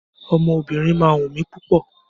Ọmọ obìnrin má ń wù mí púpọ̀